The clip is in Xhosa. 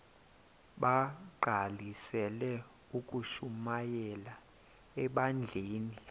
bagqalisele ukushumayela ebandleni